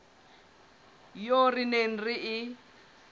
eo re neng re e